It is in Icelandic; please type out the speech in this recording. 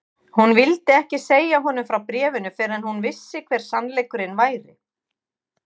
Hún vildi ekki segja honum frá bréfinu fyrr en hún vissi hver sannleikurinn væri.